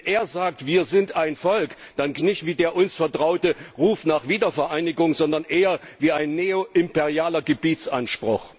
Und wenn er sagt Wir sind ein Volk, dann klingt das nicht wie der uns vertraute Ruf nach Wiedervereinigung, sondern eher wie ein neoimperialer Gebietsanspruch.